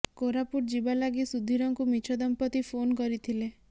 କୋରାପୁଟ ଯିବା ଲାଗି ସୁଧୀରଙ୍କୁ ମିଛ ଦମ୍ପତି ଫୋନ କରିଥିଲେ